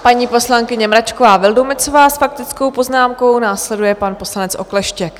Paní poslankyně Mračková Vildumetzová s faktickou poznámkou, následuje pan poslanec Okleštěk.